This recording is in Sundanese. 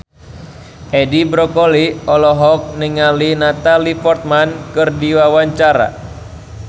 Edi Brokoli olohok ningali Natalie Portman keur diwawancara